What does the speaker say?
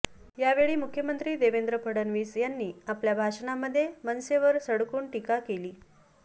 यावेळी मुख्यमंत्री देवेंद्र फडणवीस यांनी आपल्या भाषणामध्ये मनसेवर सडकून टीका केली